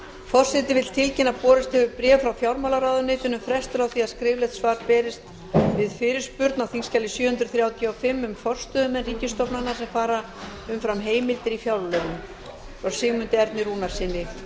forseti vill tilkynna að borist hefur bréf frá fjármálaráðuneytinu um frestun á því að skriflegt svar berist við fyrirspurn á þingskjali sjö hundruð þrjátíu og fimm um forstöðumenn ríkisstofnana sem fara umfram heimildir í fjárlögum frá sigmundi erni rúnarssyni